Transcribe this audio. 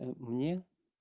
мне